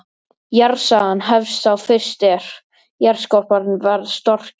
Jarðsagan hefst þá fyrst er jarðskorpan varð storkin.